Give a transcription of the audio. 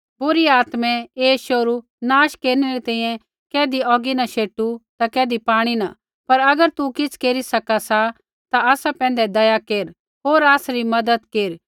बुरी आत्मै ऐ शोहरू नाश केरनै री तैंईंयैं कैधी औगी न शैटू ता कैधी पाणी न पर अगर तू किछ़ केरी सका सा ता आसा पैंधै दया केर होर आसरी मज़त केर